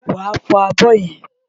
Wàá fọ abọ́ yẹn!